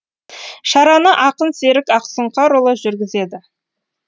шараны ақын серік ақсұңқарұлы жүргізеді